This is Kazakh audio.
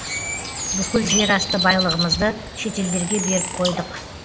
бүкіл жерасты байлығымызды шетелдерге беріп қойдық